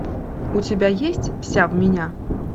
у тебя есть вся в меня